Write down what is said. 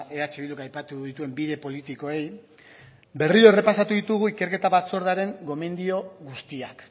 eh bilduk aipatu dituen bide politikoei berriro errepasatu ditugu ikerketa batzordearen gomendio guztiak